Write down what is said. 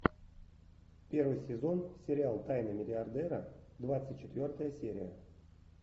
первый сезон сериал тайны миллиардера двадцать четвертая серия